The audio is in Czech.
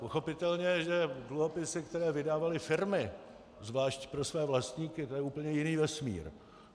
Pochopitelně že dluhopisy, které vydávaly firmy zvlášť pro své vlastníky, to je úplně jiný vesmír.